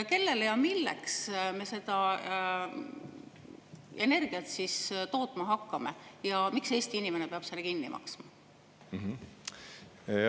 Kellele ja milleks me seda energiat siis tootma hakkame ja miks Eesti inimene peab selle kinni maksma?